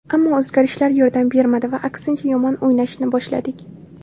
Ammo o‘zgarishlar yordam bermadi va aksincha yomon o‘ynashni boshladik.